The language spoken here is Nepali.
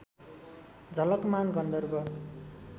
झलकमान गन्धर्व